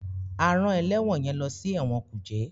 A rán ẹlẹwọn yẹn lọ si ẹwọn kuje